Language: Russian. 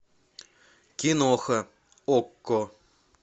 киноха окко